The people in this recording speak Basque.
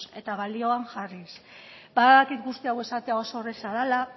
eta balioan jarriz badakit guzti hau esatea oso erreza dela